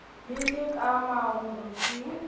le le ka marung ke